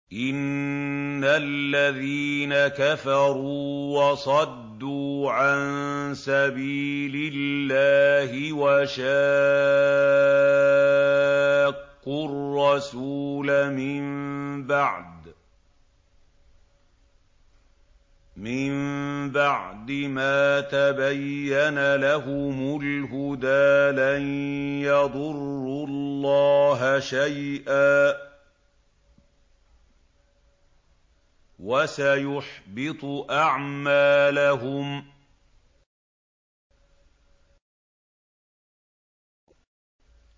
إِنَّ الَّذِينَ كَفَرُوا وَصَدُّوا عَن سَبِيلِ اللَّهِ وَشَاقُّوا الرَّسُولَ مِن بَعْدِ مَا تَبَيَّنَ لَهُمُ الْهُدَىٰ لَن يَضُرُّوا اللَّهَ شَيْئًا وَسَيُحْبِطُ أَعْمَالَهُمْ